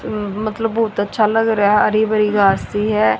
उम्म मतलब बहुत अच्छा लगा रहा है हरी भरी घास सी है।